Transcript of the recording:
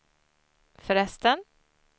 förresten